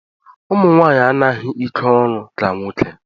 Ụmụnwaanyị anaghị ikeolu ka nwoke